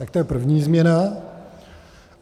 Tak to je první změna.